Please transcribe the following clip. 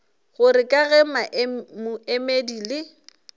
gore ka ge moemedi le